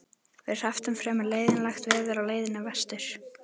Við hrepptum fremur leiðinlegt veður á leiðinni vestur.